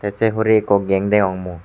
tay sei hurey ikko geng degong mui.